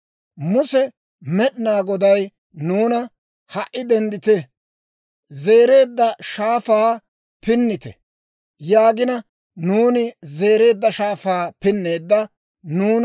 Muse, «Med'inaa Goday nuuna, ‹Ha"i denddite; Zereedda Shaafaa pinnite› yaagina, nuuni Zereedda Shaafaa pinneeddo.